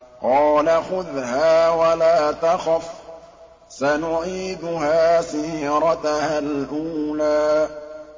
قَالَ خُذْهَا وَلَا تَخَفْ ۖ سَنُعِيدُهَا سِيرَتَهَا الْأُولَىٰ